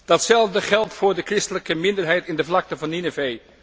Datzelfde geldt voor de christelijke minderheid in de vlakte van Ninevé.